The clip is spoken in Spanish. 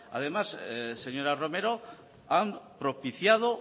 además señora romero han propiciado